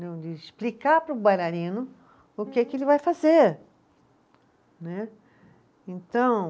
de explicar para o bailarino o que que ele vai fazer, né, então.